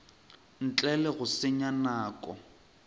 ntle le go senya nako